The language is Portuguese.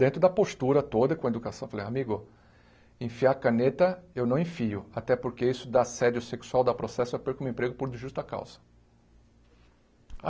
Dentro da postura toda, com a educação, falei, amigo, enfiar a caneta eu não enfio, até porque isso dá assédio sexual, dá processo, eu perco o meu emprego por justa causa.